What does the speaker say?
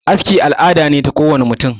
aski al'ada ce ta kowane mutane